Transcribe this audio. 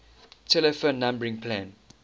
telephone numbering plan